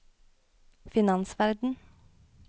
finansverden